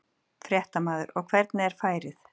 Fréttamaður: Og hvernig er færið?